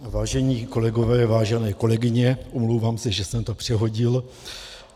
Vážení kolegové, vážené kolegyně, omlouvám se, že jsem to přehodil.